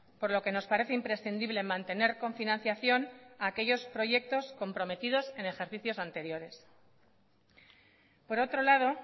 por lo que nos parece imprescindible mantener con financiación aquellos proyectos comprometidos en ejercicios anteriores por otro lado